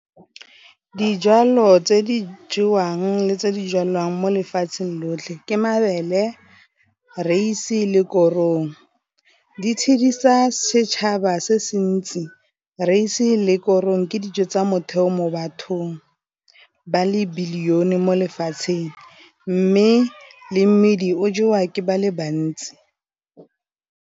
Dijalo tse di jewang le tse di jalwang mo lefatsheng lotlhe ke mabele, raese le korong. Di tshedisa setšhaba se se ntsi, raese le korong ke dijo tsa motheo mo bathong ba le belione mo lefatsheng, mme le mmidi o jewa ke ba le bantsi.